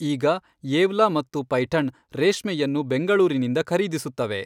ಈಗ ಯೇವ್ಲಾ ಮತ್ತು ಪೈಠಣ್ ರೇಷ್ಮೆಯನ್ನು ಬೆಂಗಳೂರಿನಿಂದ ಖರೀದಿಸುತ್ತವೆ.